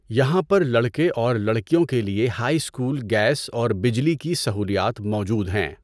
یہاں پر لڑکے اور لڑکیوں کے لہے ہائی اسکول گیس اور بجلی کی سہولیات موجود ہیں۔